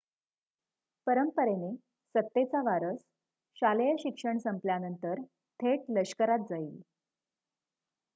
परंपरेने सत्तेचा वारस शालेय शिक्षण संपल्यानंतर थेट लष्करात जाईल